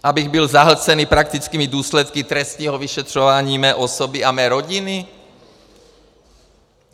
Abych byl zahlcený praktickými důsledky trestního vyšetřování mé osoby a mé rodiny?